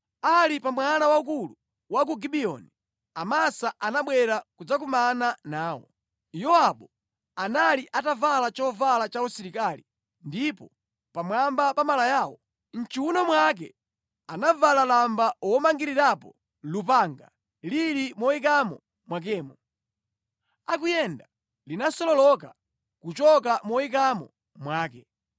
Ali pa mwala waukulu wa ku Gibiyoni, Amasa anabwera kudzakumana nawo. Yowabu anali atavala chovala chausilikali ndipo pamwamba pa malayawo, mʼchiwuno mwake anavala lamba womangirirapo lupanga lili moyikamo mwakemo. Akuyenda linasololoka kuchoka moyikamo mwake.